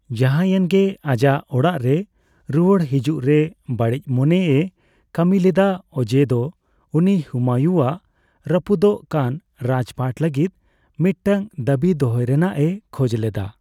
ᱡᱟᱸᱦᱟᱭᱮᱱ ᱜᱮ ᱟᱡᱟᱜ ᱚᱲᱟᱜ ᱨᱮ ᱨᱩᱣᱟᱹᱲ ᱦᱤᱡᱩᱜ ᱨᱮ ᱵᱟᱹᱲᱤᱡ ᱢᱚᱱᱮ ᱮ ᱠᱟᱹᱢᱤ ᱞᱮᱫᱟ ᱚᱡᱮ ᱫᱚ ᱩᱱᱤ ᱦᱩᱢᱟᱭᱩᱱ ᱟᱜ ᱨᱟᱹᱯᱫᱚᱜ ᱠᱟᱱ ᱨᱟᱡᱽ ᱯᱟᱴ ᱞᱟᱹᱜᱤᱫ ᱢᱤᱫᱴᱟᱝ ᱫᱟᱹᱵᱤ ᱫᱚᱦᱚᱭ ᱨᱮᱱᱟᱜ ᱮ ᱠᱷᱚᱡ ᱞᱮᱫᱟ ᱾